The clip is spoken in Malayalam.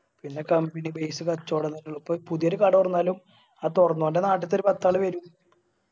പിന്നെ company based കച്ചോടാണിത് പിന്നെ പുതിയൊരു കട തൊറന്നാലും ആ തുറന്നോന്റെ നാട്ടിത്തെ ഒരു പത്താള് വരും.